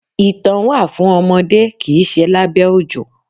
Ìtàn wà fún ọmọdé kìí ṣe lábẹ́ òjò.